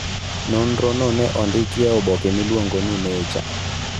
Nonrono ne ondiki e oboke miluongo ni 'Nature.'